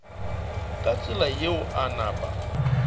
ka tsela yeo a napa